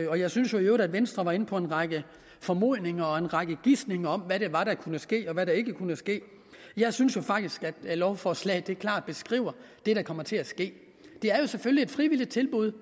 jeg synes jo i øvrigt at venstre var inde på en række formodninger og en række gisninger om hvad det var der kunne ske og hvad der ikke kunne ske jeg synes jo faktisk at lovforslaget klart beskriver det der kommer til at ske det er jo selvfølgelig et frivilligt tilbud